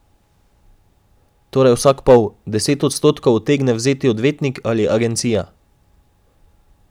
Torej vsak pol, deset odstotkov utegne vzeti odvetnik ali agencija.